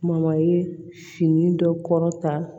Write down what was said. ye fini dɔ kɔrɔ ta